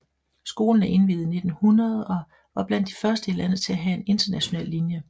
Skolen er indviet i 1900 og var blandt de første i landet til at have en international linje